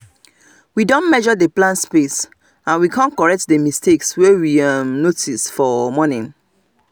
we don measure the plant space and we come correct the mistake wey we um notice um for um morning